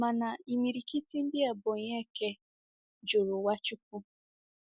Mana imirikiti ndi Ebonyi eke juru Nwachukwu.